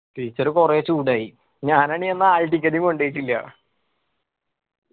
teacher കൊറേ ചൂടായി. ഞാൻ ആണെങ്ങി അന്ന് hall ticket കൊണ്ടോയിട്ടില്ല